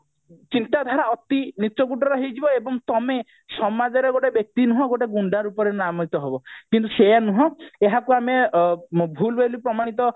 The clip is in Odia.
ଚିନ୍ତାଧାରା ଅତି ନୀଚ କୋଟିର ହେଇଯିବ ଏବଂ ତମେ ସମାଜରେ ଗୋଟେ ବ୍ୟକ୍ତି ନୁହଁ ଗୋଟେ ଗୁଣ୍ଡା ରୂପରେ ନାମୟିତ ହବ କିନ୍ତୁ ସେୟା ନନୁହଁ ଏହାକୁ ଆମେ ଭୁଲ ବୋଲି ପ୍ରମାଣିତ